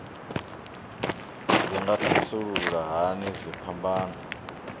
dzi nga thasulula hani dziphambano